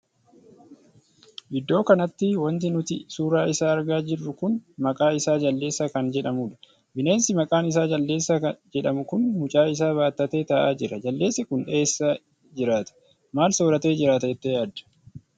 Iddoo kanatti wanti nuti suuraa isaa argaa jirru kun maqaa isaa jaldeessa kan jedhamuudha. bineensi maqaan isaa jaldeessa jedhamu kun mucaa isaa battatee taa'aa jira. jaldeessi kun eessa jiraata? maal sooratee jiraata jettee yaadda?